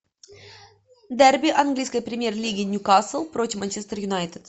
дерби английской премьер лиги ньюкасл против манчестер юнайтед